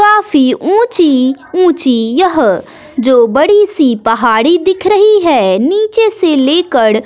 काफी ऊंची ऊंची यह जो बड़ी सी पहाड़ी दिख रही है नीचे से लेकड़ --